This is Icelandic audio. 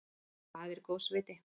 Það er góðs viti.